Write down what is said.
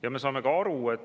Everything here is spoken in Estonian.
Lugupeetud istungi juhataja!